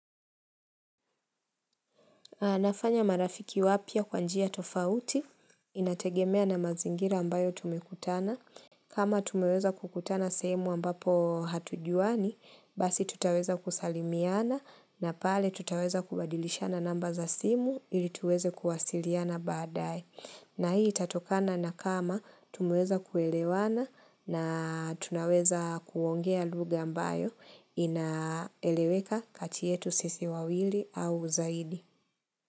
Anafanya marafiki wapya kwa njia tofauti, inategemea na mazingira ambayo tumekutana. Kama tumeweza kukutana sehemu ambapo hatujuani, basi tutaweza kusalimiana na pale tutaweza kubadilishana namba za simu ili tuweze kuwasiliana baadae. Na hii itatokana na kama tumeweza kuelewana na tunaweza kuongea lugha ambayo inaeleweka kati yetu sisi wawili au zaidi.